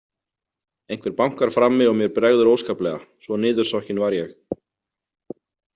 Einhver bankar frammi og mér bregður óskaplega, svo niðursokkin var ég.